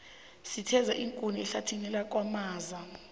sitheza iinkuni ehlathini lakwamaza